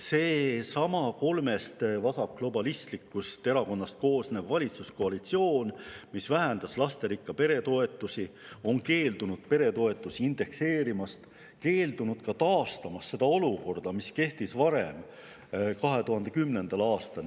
Seesama kolmest vasakglobalistlikust erakonnast koosnev valitsuskoalitsioon, mis vähendas lasterikka pere toetusi ja on keeldunud peretoetusi indekseerimast, keeldub ka taastamast seda olukorda, mis kehtis varem, 2010. aastal.